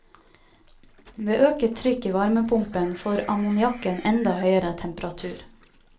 Ved øket trykk i varmepumpen får ammoniakken enda høyere temperatur.